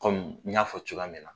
Komi n y'a fɔ cogoya min na.